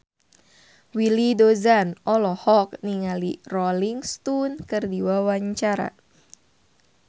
Willy Dozan olohok ningali Rolling Stone keur diwawancara